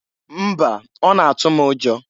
Mba! Ọ na- atụ m ụjọ.